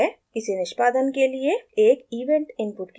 इसे निष्पादन के लिए एक event इनपुट की ज़रुरत है